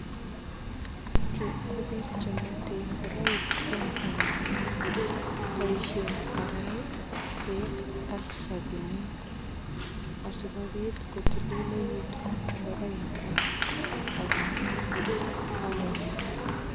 Chu ko piik che mwetei ngoroik eng ainonin, boisien karait, beek ak sapunit, asikobit kotililekitun ngoroikwak ako maa ak.